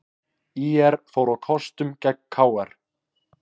ÍR fór á kostum gegn KR